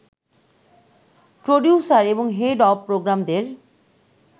producer এবং head of প্রোগ্রামদের